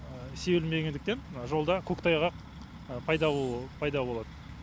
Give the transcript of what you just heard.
себілмегендіктен жолда көктайғақ пайда болады